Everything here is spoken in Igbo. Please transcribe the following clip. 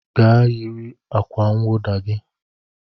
Gaa yiri akwa nwụda gi